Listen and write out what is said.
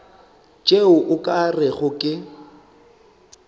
tšeo o ka rego ke